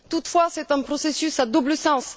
Toutefois, c'est un processus à double sens.